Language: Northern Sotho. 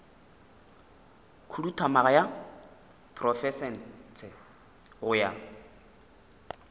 khuduthamaga ya profense go ya